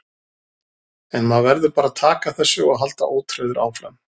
En maður verður bara að taka þessu og halda ótrauður áfram.